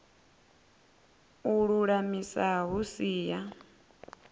u lulamisa hu si ya